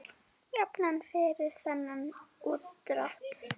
Jafnan fyrir þennan útdrátt er